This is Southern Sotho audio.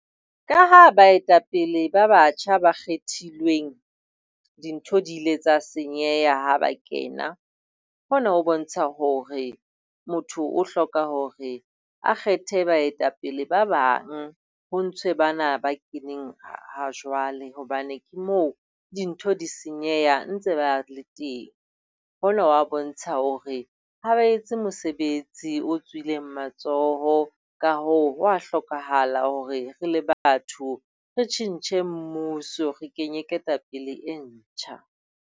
Ka ha baetapele ba batjha ba kgethilweng, dintho di ile tsa senyeha ha ba kena, hona ho bontsha hore motho o hloka hore a kgethe baetapele ba bang. Ho ntshwe bana ba keneng ha ha jwale hobane ke moo dintho di senyeha ntse ba le teng. Hona ho a bontsha hore ha ba etse mosebetsi o tswileng matsoho ka hoo ho a hlokahala hore re le batho re tjhentjhe mmuso, re kenye ketapele e ntjha.